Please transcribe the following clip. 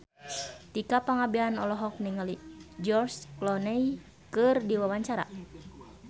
Tika Pangabean olohok ningali George Clooney keur diwawancara